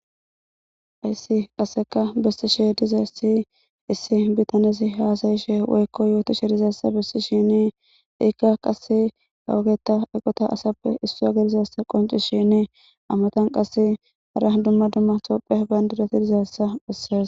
Haysi qasseka bessishe dizayssi issi bitanezi haasayishe woykko yootishe dizayssa bessishini iikka qasse kawao eqota asappe issuwa gidizayassa qoncishini a matan qasse hara dumma dumma tophphiya bandirati dizayssa besses.